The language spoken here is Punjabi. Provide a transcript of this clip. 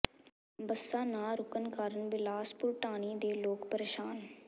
ਬੱਸਾਂ ਨਾ ਰੁਕਣ ਕਾਰਨ ਬਿਲਾਸਪੁਰ ਢਾਣੀ ਦੇ ਲੋਕ ਪ੍ਰੇਸ਼ਾਨ